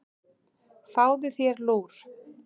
Fáðu þér lúr.